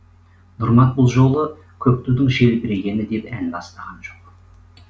нұрмат бұл жолы көк тудың желбірегені деп ән бастаған жоқ